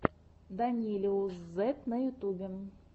данилиусзет на ютюбе